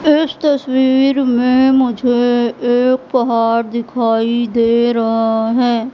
इस तसवीर में मुझे एक पहाड़ दिखाई दे रहा है।